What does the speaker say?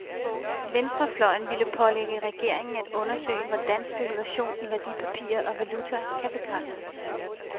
Venstrefløjen ville pålægge regeringen at undersøge, hvordan spekulation i værdipapirer og valuta kan begrænses.